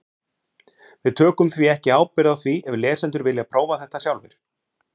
Við tökum því ekki ábyrgð á því ef lesendur vilja prófa þetta sjálfir.